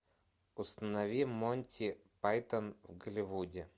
установи монти пайтон в голливуде